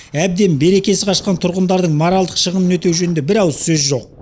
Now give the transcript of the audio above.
әбден берекесі қашқан тұрғындардың моральдық шығынын өтеу жөнінде бір ауыз сөз жоқ